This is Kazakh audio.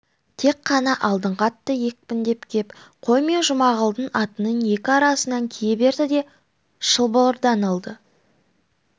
тек қана алдыңғы атты екпіндеп кеп қой мен жұмағұлдың атының екі арасынан кие берді де шылбырдан алды